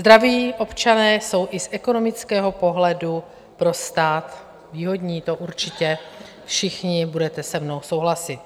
Zdraví občané jsou i z ekonomického pohledu pro stát výhodní, to určitě všichni budete se mnou souhlasit.